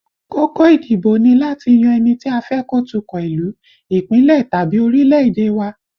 Kókó ìdìbò ni láti yan ẹni tí a fẹ́ kó tukọ̀ ìlú, Ìpínlẹ̀ tàbí orílẹ̀èdè wa